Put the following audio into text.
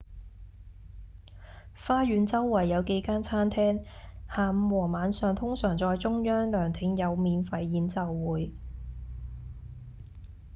花園周圍有幾間餐廳下午和晚上通常在中央涼亭有免費演奏會